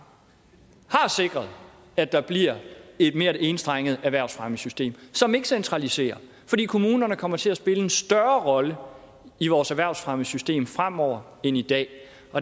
har sikret at der bliver et mere enstrenget erhvervsfremmesystem som ikke centraliserer fordi kommunerne kommer til at spille en større rolle i vores erhvervsfremmesystem fremover end i dag